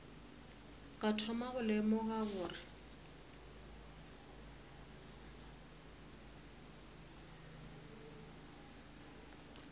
ka thoma go lemoga gore